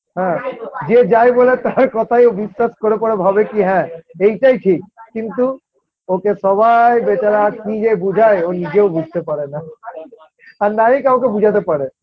হ্যাঁ যে যাই বলে তার কথাই ও বিশ্বাস করে করে ভাবে কি হ্যাঁ এইটাই ঠিক কিন্তু ওকে সবাই বেচারা কি যে বুঝায় ও নিজেও বুঝতে পারে না আর নাই কাউকে বুঝাতে পারে